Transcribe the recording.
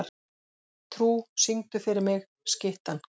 Trú, syngdu fyrir mig „Skyttan“.